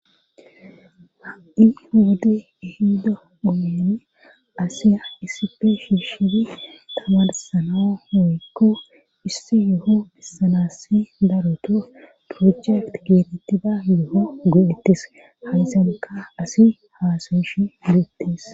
ha'i hode ihida oeni asiya isife shiishidi tamarsanao woyykko issi yuho bissalassi daruto projekt geetettida yuho go'ettis haysanka asi haasayeshi gu'ettes